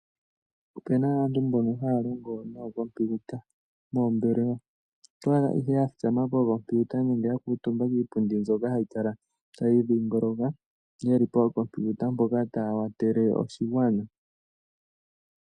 Opuna aantu mboka haya longo nookompiuta moombelwa, ohaya kala ya thikama pookompiuta nenge ya kuutumba kiipundi mbyoka hayi kala tayi dhingoloka, yeli pookompiuta mpoka taya kwathele oshigwana.